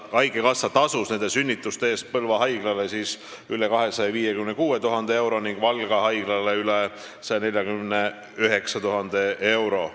Haigekassa tasus nende sünnituste eest Põlva haiglale üle 256 000 euro ning Valga haiglale üle 149 000 euro.